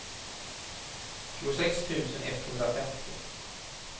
tjugosex tusen etthundrafemtio